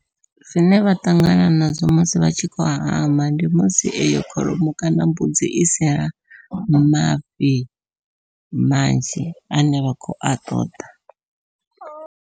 Zwine vha ṱangana nazwo musi vha tshi khou hama ndi musi eyo kholomo kana mbudzi i sina mafhi manzhi ane vha khou a ṱoḓa.